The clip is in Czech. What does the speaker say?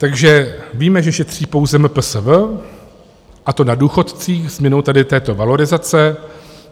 Takže víme, že šetří pouze MPSV a to na důchodcích změnou tady této valorizace.